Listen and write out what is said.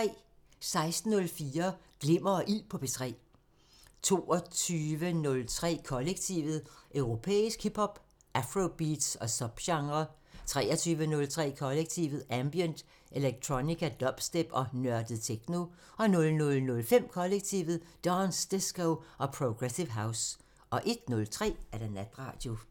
16:04: Glimmer og Ild på P3 22:03: Kollektivet: Europæisk hip hop, afrobeats og subgenrer 23:03: Kollektivet: Ambient, electronica, dubstep og nørdet techno 00:05: Kollektivet: Dance, disco og progressive house 01:03: Natradio